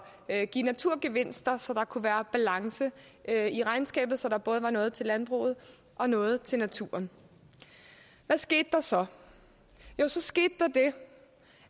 at give naturgevinster så der kunne være balance i regnskabet så der både var noget til landbruget og noget til naturen hvad skete der så jo så skete